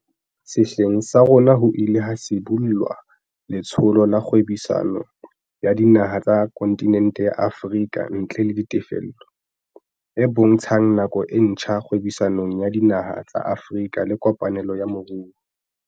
Sehleng sa rona ho ile ha sibollwa Letsholo la Kgwebisano ya Dinaha tsa Konti nente ya Afrika ntle le Dite fello, AFCFTA, e bontshang nako e ntjha kgwebisanong ya dinaha tsa Afrika le kopanelong ya moruo.